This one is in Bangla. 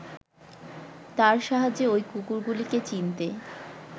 তার সাহায্যে ওই কুকুরগুলিকে চিনতে